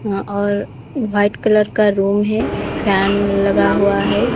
और white colour का room है फैन लगा हुआ है।